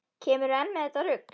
Kemurðu enn með þetta rugl!